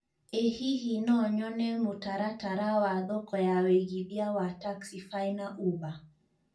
I hihi no nyone mũtaratara wa thoko ya wĩigĩthĩa wa taxify na uber